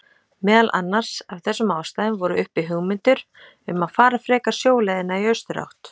Meðal annars af þessum ástæðum voru uppi hugmyndir um að fara frekar sjóleiðina í austurátt.